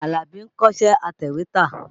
Àlàbí ń kọ́ṣẹ́ atẹ̀wétà.